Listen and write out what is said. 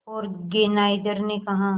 organiser ने कहा